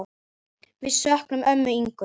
Við söknum ömmu Ingu.